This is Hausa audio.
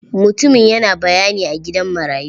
Mutumin yana bayani a gidan marayu.